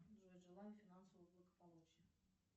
джой желаю финансового благополучия